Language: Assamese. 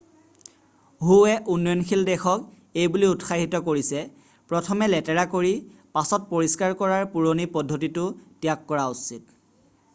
"হুৱে উন্নয়নশীল দেশক এইবুলি উৎসাহিত কৰিছে "প্ৰথমে লেতেৰা কৰি পাছত পৰিষ্কাৰ কৰাৰ পুৰণি পদ্ধতিটো ত্যাগ কৰা উচিত।""